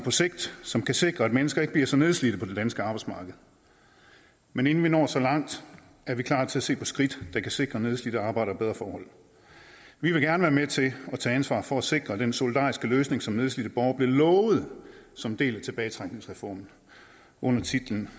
som kan sikre at mennesker ikke bliver så nedslidte på det danske arbejdsmarked men inden vi når så langt er vi klar til at se på skridt der kan sikre nedslidte arbejdere bedre forhold vi vil gerne være med til at tage ansvaret for at sikre at den solidariske løsning som nedslidte borgere blev lovet som en del af tilbagetrækningsreformen under titlen